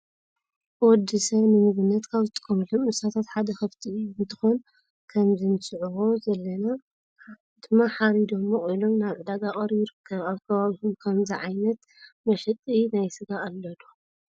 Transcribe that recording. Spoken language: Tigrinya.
ወድሰብ ንምግብነት ካብ ዝጥቀሙሎም እንስሳታት ሓደ ከፍቲ እንትኮን ከምዚ ንዕዘቦ ዘለና ድማ ሓሪዶም መቂሎም ናብ ዕዳጋ ቀሪቡ ይርከብ። አብ ከባቢኩም ከ ከመዚ ዓይነት መሸጢ ናይ ስጋ ዘሎ ዶ?